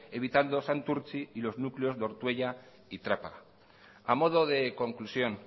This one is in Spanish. evitando santurtzi y lo núcleos de ortuella y trápaga a modo de conclusión